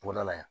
Bɔnda la yan